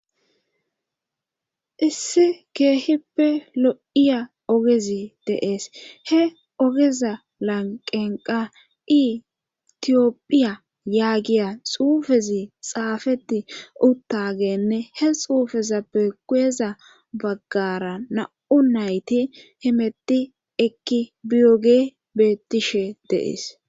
issi keehippe lo7iya ogezi deees he ogeza lanqenqa itiyopphiya yaagiya xuufezi xaafeti uttagenne he xuufezappe kuyeza baggara na7u nayti himetti ekki biyoge bettishe deees